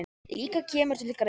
líka kemur til greina.